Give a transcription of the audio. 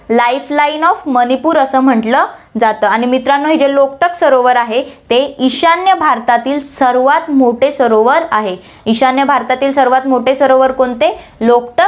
life line of Manipur असं म्हंटलं जातं आणि मित्रांनो, हे जे लोकटाक सरोवर आहे, ते ईशान्य भारतातील सर्वात मोठे सरोवर आहे, ईशान्य भारतातील सर्वात मोठे सरोवर कोणते लोकटाक